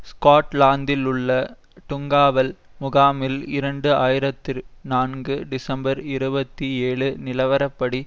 ஸ்கொட்லாந்திலுள்ள டுங்காவல் முகாமில் இரண்டு ஆயிரத்தி நான்கு டிசம்பர் இருபத்தி ஏழு நிலவரப்படி